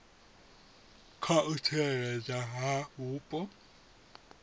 kha u tsireledzwa ha vhupo